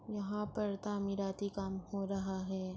وہاں پر د مرادی کام ہو رہا ہے۔